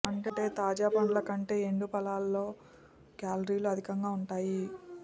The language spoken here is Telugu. అంటే తాజా పండ్ల కంటే ఎండు ఫలాల్లో క్యాలరీలు అధికంగా ఉంటాయి